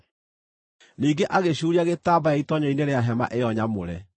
Ningĩ agĩcuuria gĩtambaya itoonyero-inĩ rĩa hema ĩyo nyamũre.